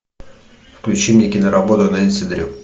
включи мне киноработу нэнси дрю